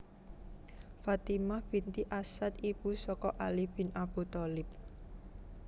Fatimah binti Asad Ibu saka Ali bin Abu Thalib